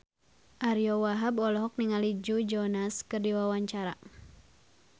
Ariyo Wahab olohok ningali Joe Jonas keur diwawancara